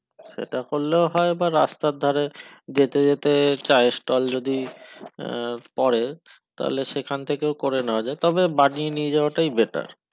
এটা করলেও হয় বা রাস্তার ধারে যেতে যেতে চা এর stall যদি পরে তালে সেখান থেকেও করে নেয়া যাই তবে বানিয়ে নিয়ে যাওয়াটাই better